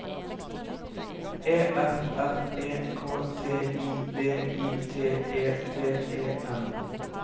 E F F E K T I V I T E T E N